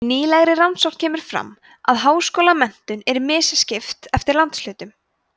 í nýlegri rannsókn kemur fram að háskólamenntun er misskipt eftir landshlutum